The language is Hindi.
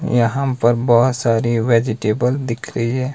यहां पर बोहोत सारी वेजिटेबल दिख रही है।